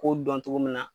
K'o dɔn cogo min na